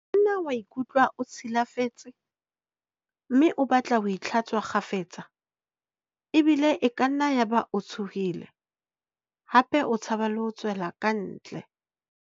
Nna wa ikutlwa o tshi lafetse mme o batle ho itlha-tswa kgafetsa, ebile e kanna ya ba o tshohile hape o tshaba le ho tswela kantle.